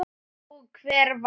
Og hver vann?